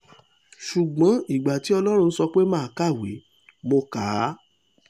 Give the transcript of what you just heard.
ṣùgbọ́n ìgbà tí ọlọ́run sọ pé mà á kàwé mo kà á